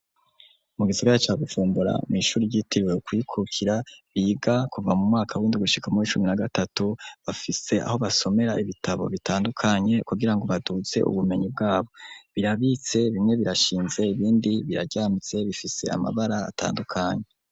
Mu gisagara ca Bujumbura mw'ishuri ryitiriwe Kwikukira biga kuva mu mwaka w'indwi gushika mu uwicumi na gatatu bafise aho basomera ibitabo bitandukanye kugirango baduze ubumenyi bwabo, birabitse bimwe birashinze ibindi biraryamitse bifise amabara atandukanye.